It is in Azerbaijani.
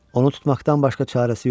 Onu tutmaqdan başqa çarəsi yoxdur.